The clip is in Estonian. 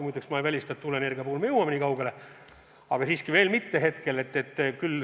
Muide, ma ei välista, et tuuleenergia puhul me jõuame nii kaugele, aga veel mitte praegu.